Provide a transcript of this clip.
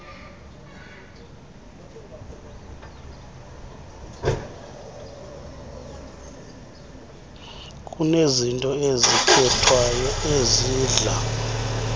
kunezinto ezikhethwayo ezidla